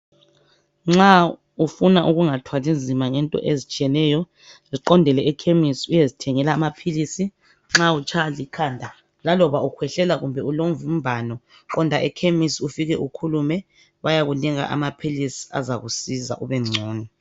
Nxa ufuna ukungathwali nzima ngento ezitshiyeneyo. Ziqondele ekhemesi uyezithengela amaphilisi. Nxa utshaywa likhanda, laloba ukhwehlela, kumbe ulomvimbano, qonda ekhemisi. Ufike ukhulume. Bayakunika amaphilisi, azakusiza, ubengcono.